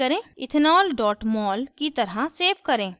ethanol mol की तरह save करें